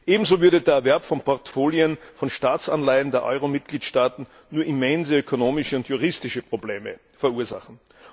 Ebenso würde der Erwerb von Portfolien, von Staatsanleihen der Euro Mitgliedstaaten nur immense ökonomische und juristische Probleme verursachen.